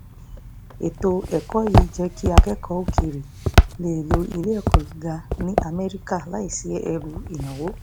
ètò ẹ̀kọ́ yìí ń jẹ́ kí akẹ́kọ̀ọ́ òkèèrè lè lọ ilé ẹ̀kọ́ gíga ní amẹ́ríkà láìsí ẹrù ìnáwó